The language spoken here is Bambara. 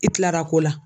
I tilara ko la